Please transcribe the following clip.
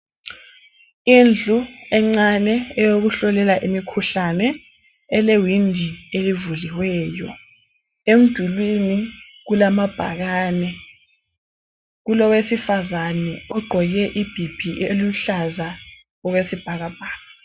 Indlu encane eyokuhlolela imikhuhlane elewindi elivuliweyo. Emdulini kulamabhakane kulowesifazane ogqoke ibhibhi eluhlaza okwesibhakabhaka.